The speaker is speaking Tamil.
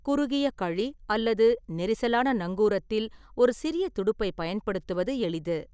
குறுகிய கழி அல்லது நெரிசலான நங்கூரத்தில் ஒரு சிறிய துடுப்பைப் பயன்படுத்துவது எளிது.